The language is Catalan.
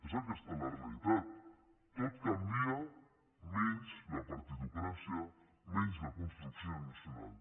és aquesta la realitat tot canvia menys la partitocràcia menys la construcció nacional